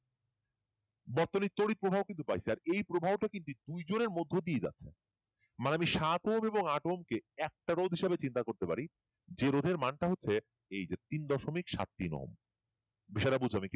বর্তনীর তড়িৎ প্রবাহ কিন্তু পাইছে আর এই প্রবাহটা কিন্তু দুইজনের মধ্য দিয়ে যাচ্ছে মানে আমি সাত ওহম এবং আট ওমকে একটা রোধ হিসেবে চিন্তা করতে পারে যে রোধের মানটা হচ্ছে তিন দশমিক সাত ওহম বিষয়টা বোঝো কি আমি বলতেছি